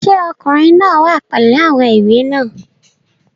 Sé Ọkùnrin náà wá pẹ̀lú àwọn ìwé náà?